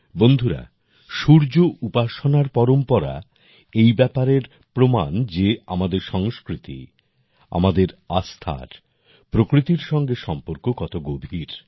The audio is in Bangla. বন্ধুরা সূর্য উপাসনার পরম্পরা এই ব্যাপারের প্রমাণ যে আমাদের সংস্কৃতি আমাদের আস্থার প্রকৃতির সঙ্গে সম্পর্ক কত গভীর